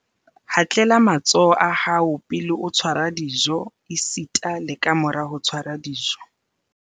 Hatlela matsoho a hao pele o tshwara dijo esita le kamora ho tshwara dijo